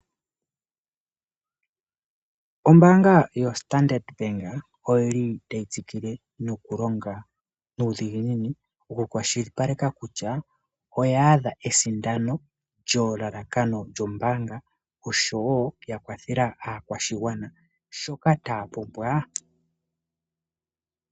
Ombaanga yoStandard bank otayi tsikile nokulonga nuudhiginini mokukwashilipaleka kutya oyaadha esindano lyelalakano lyombaanga oshowo okukwathela aakwashigwana shoka taya pumbwa.